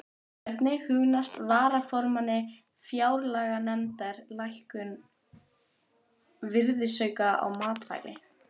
Hvernig hugnast varaformanni fjárlaganefndar lækkun virðisauka á matvæli?